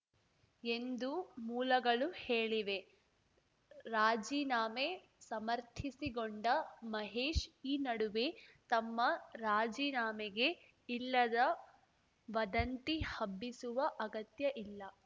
ಎಂದು ಮೂಲಗಳು ಹೇಳಿವೆ ರಾಜಿನಾಮೆ ಸಮರ್ಥಿಸಿಗೊಂಡ ಮಹೇಶ್‌ ಈ ನಡುವೆ ತಮ್ಮ ರಾಜೀನಾಮೆಗೆ ಇಲ್ಲದ ವದಂತಿ ಹಬ್ಬಿಸುವ ಅಗತ್ಯ ಇಲ್ಲ